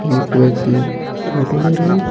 एक व्यक्ति फोटो ले रहे हैं।